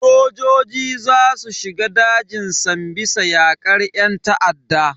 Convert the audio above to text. Sojoji za su shiga dajin sambisa yakar yan ta'adda.